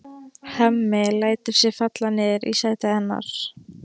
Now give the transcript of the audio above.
Hemmi lætur sig falla niður í sætið hennar.